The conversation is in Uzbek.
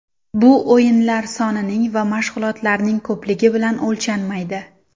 Bu o‘yinlar sonining va mashg‘ulotlarning ko‘pligi bilan o‘lchanmaydi”.